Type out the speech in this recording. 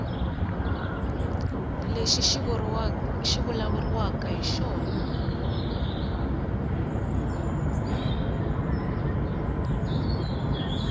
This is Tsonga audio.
lexi ku vulavuriwaka hi xona